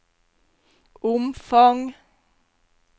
omfang